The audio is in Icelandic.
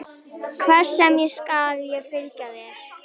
Hvert sem er skal ég fylgja þér.